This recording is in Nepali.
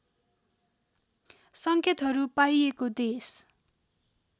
सङ्केतहरू पाइएको देश